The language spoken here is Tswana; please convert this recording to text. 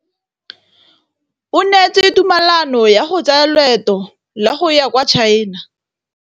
O neetswe tumalanô ya go tsaya loetô la go ya kwa China.